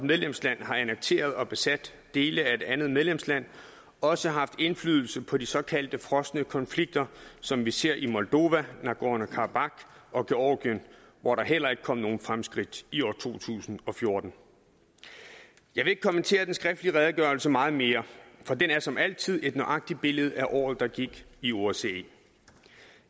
medlemsland har annekteret og besat dele af et andet medlemsland også har haft indflydelse på de såkaldte frosne konflikter som vi ser i moldova nagorno karabakh og georgien hvor der heller ikke kom nogen fremskridt i år to tusind og fjorten jeg vil ikke kommentere den skriftlige redegørelse meget mere for den er som altid et nøjagtigt billede af året der gik i osce